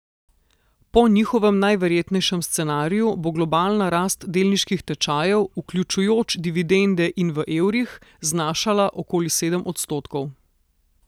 Po njihovem najverjetnejšem scenariju bo globalna rast delniških tečajev, vključujoč dividende in v evrih, znašala okoli sedem odstotkov.